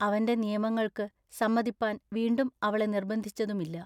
അവന്റെ നിയമങ്ങൾക്ക് സമ്മതിപ്പാൻ വീണ്ടും അവളെ നിർബന്ധിച്ചതുമില്ല.